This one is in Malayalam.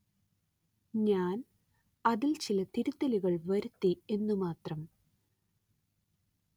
ഞാന്‍ അതില്‍ ചില തിരുത്തലുകള്‍ വരുത്തി എന്നു മാത്രം